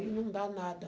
não dá nada.